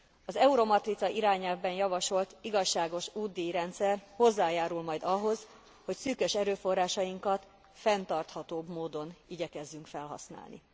Az Euromatrica irányelvben javasolt igazságos útdíjrendszer hozzájárul majd ahhoz, hogy szűkös erőforrásainkat fenntarthatóbb módon igyekezzünk felhasználni.